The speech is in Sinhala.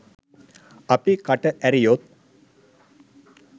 අපි කට ඇරියොත්